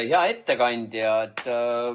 Hea ettekandja!